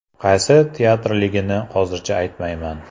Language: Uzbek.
Qaysi teatrligini hozircha aytmayman.